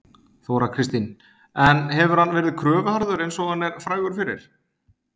Þóra Kristín: En hefur hann verið kröfuharður eins og hann er frægur fyrir?